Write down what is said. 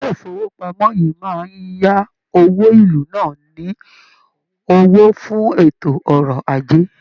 ilé ifowopamọ yìí máa ya òwò ilú náà ní owó fún ètò ọ̀rọ̀ ajé.